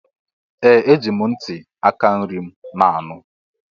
Ee! Eji m ntị aka nri m na-anụ.